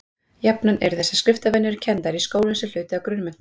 jafnan eru þessar skriftarvenjur kenndar í skólum sem hluti af grunnmenntun